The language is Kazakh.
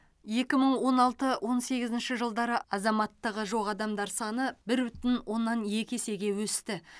екі мың он алты он сегізінші жылдары азаматтығы жоқ адамдар саны бір бүтін оннан екі есеге өсті